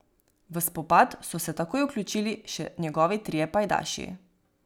V spopad so se takoj vključili še njegovi trije pajdaši.